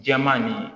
Jɛman nin